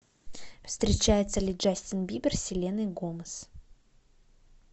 встречается ли джастин бибер с селеной гомес